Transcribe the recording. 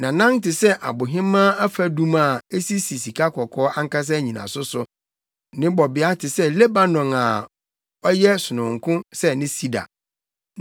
Nʼanan te sɛ abohemaa afadum a esisi sikakɔkɔɔ ankasa nnyinaso so. Ne bɔbea te sɛ Lebanon a ɔyɛ sononko sɛ ne sida.